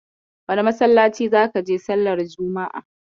Wane masallaci zaka je sallar juma'a?